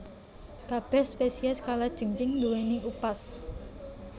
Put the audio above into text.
Kabèh spesies kalajengking ndhuwèni upas